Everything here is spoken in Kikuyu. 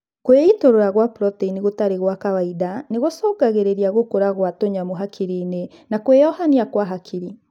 Kwĩitũrũra gwa proteini gũtarĩ gwa kawaida nĩgũcũngagĩrĩa gũkũra gwa tũnyamu hakiri-inĩ na kwĩyohania kwa hakiri